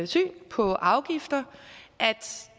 syn på afgifter at